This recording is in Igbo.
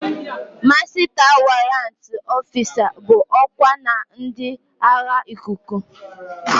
Masịta warrantị ọfịsa bụ ọkwa na ndị agha ikuku.